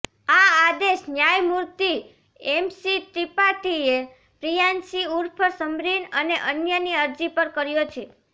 આ આદેશ ન્યાયમૂર્તિ એમસી ત્રિપાઠીએ પ્રિયાંશી ઉર્ફ સમરીન અને અન્યની અરજી પર કર્યો છે